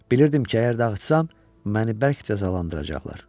Bilirdim ki, əgər dağıtsam, məni bərk cəzalandıracaqlar.